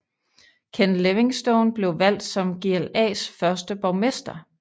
Ken Livingstone blev valgt som GLAs første borgmester